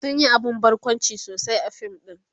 sun Yi abun barkwanci sosai a fim ɗin